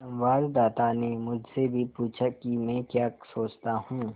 संवाददाता ने मुझसे भी पूछा कि मैं क्या सोचता हूँ